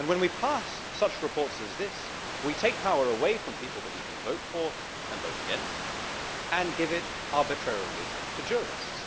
When we pass such reports as this, we take power away from people that one can vote for and vote against and give it arbitrarily to jurists.